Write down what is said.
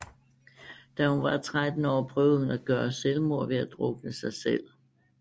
Da hun var tretten år prøvede hun at gøre selvmord ved at drukne sig selv